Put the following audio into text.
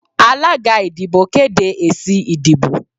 alagá ìdíbò kedé ésí ìdíbò